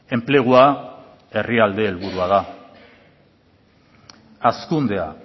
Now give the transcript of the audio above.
enplegua herrialde helburua da hazkundea